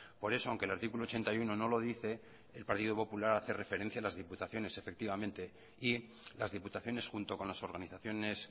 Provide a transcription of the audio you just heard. por eso aunque el artículo ochenta y uno no lo dice el partido popular hace referencia a las diputaciones efectivamente y las diputaciones junto con las organizaciones